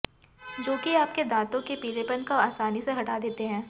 जो कि आपके दांतो के पीलेपन को आसानी से हटा देते है